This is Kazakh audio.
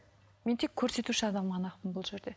мен тек көрсетуші адам ғана ақпын бұл жерде